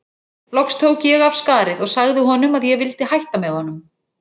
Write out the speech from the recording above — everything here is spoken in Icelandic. Loks tók ég af skarið og sagði honum að ég vildi hætta með honum.